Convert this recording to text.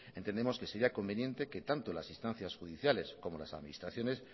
entendemos que sería conveniente que tanto las instancias judiciales como las administraciones